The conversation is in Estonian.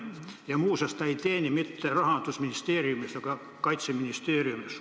Ja muuseas, ta ei teeni mitte Rahandusministeeriumis, vaid Kaitseministeeriumis.